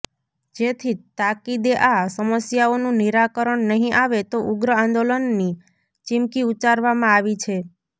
જેથી તાકીદે આ સમસ્યાઓનું નિરાકરણ નહીં આવે તો ઉગ્ર આંદોલનની ચીમકી ઉચ્ચારવામાં આવી છે